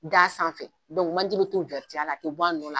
Da sanfɛ dɔnku manje bɛ to la, a t'i bɔ a nɔ la.